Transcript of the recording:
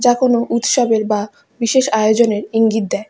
যা কোনো উৎসবের বা বিশেষ আয়োজনের ইঙ্গিত দেয়।